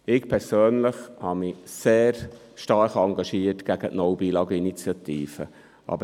Ich persönlich habe mich sehr stark gegen die «No Billag»Initiative engagiert.